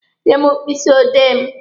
Nye m mkpịsị odee mụ!